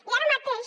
i ara mateix